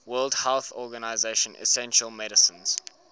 world health organization essential medicines